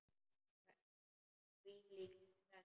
Hvílíkt stress!